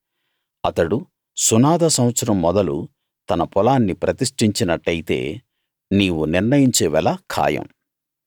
అతడు సునాద సంవత్సరం మొదలు తన పొలాన్ని ప్రతిష్ఠించినట్టయితే నీవు నిర్ణయించే వెల ఖాయం